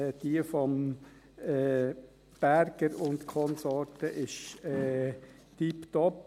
Die von Berger und Konsorten ist tipptopp.